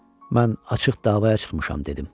Mən açıq davaya çıxmışam, dedim.